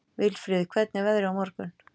Vilfríður, hvernig er veðrið á morgun?